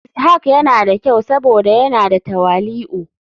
Ishak yana da kyau saboda yana da tawali'u.